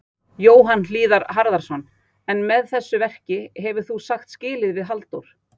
Jóhann Hlíðar Harðarson: En með þessu verki hefur þú þá sagt skilið við Halldór?